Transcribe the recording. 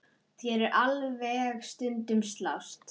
Þeir segjast alveg stundum slást.